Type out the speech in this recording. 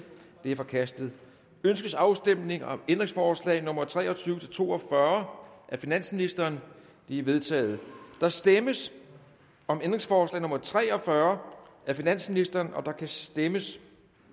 det er forkastet ønskes afstemning om ændringsforslag nummer tre og tyve til to og fyrre af finansministeren de er vedtaget der stemmes om ændringsforslag nummer tre og fyrre af finansministeren og der kan stemmes